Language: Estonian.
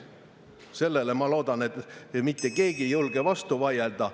Sellele, ma loodan, ei julge mitte keegi vastu vaielda.